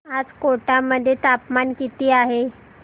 आज कोटा मध्ये तापमान किती आहे